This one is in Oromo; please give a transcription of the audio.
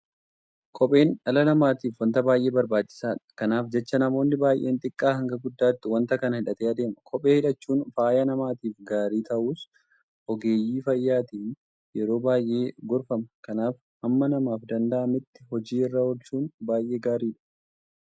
Kopheen dhala namaatiif waanta baay'ee barbaachisaadha. Kanaaf jecha namoonni baay'een xiqqaa hanga guddaatti waanta kana hidhatee adeema. Kophee hidhachuun fayyaa namaatiif gaarii ta'uusaas ogeeyyii fayyaatiin yeroo baay'ee gorfama. Kanaaf hamma namaaf danda'ametti hojii irra oolchuun baay'ee gaariidha.